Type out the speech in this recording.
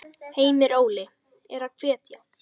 Heimir: Óli er hetja?